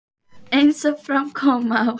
Eins og fram kom á